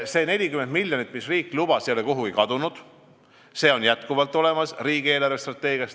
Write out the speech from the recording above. See 40 miljonit, mida riik lubas, ei ole kuhugi kadunud, see on jätkuvalt olemas riigi eelarvestrateegias.